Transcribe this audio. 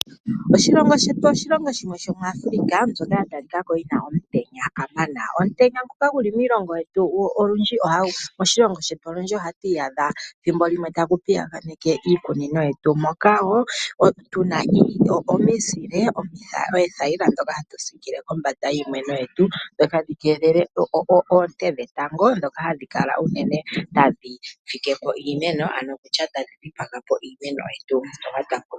Oshilongo shetu oshilongo shimwe shomoAfrika mbyoka ya talika ko yi na omutenya kamana. Omutenya nguka gu li moshilongo shetu olundji ohatu iyadha thimbo limwe tagu piyaganeke iikunino yetu moka wo tu na omizile, oothayila ndhoka hatu siikile kombanda yiimeno yetu, dho tadhi keelele oonte dhetango ndhoka hadhi kala unene tadhi fike po iimeno nenge tadhi dhipaga po iimeno yetu mbyoka twa kuna.